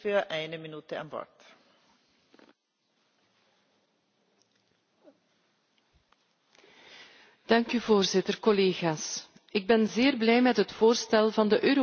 Ik ben zeer blij met het voorstel voor een Europese toegankelijkheidswet. Het is uiteraard maar een klein onderdeel van de omzetting van het VN Verdrag voor de rechten van personen met een handicap.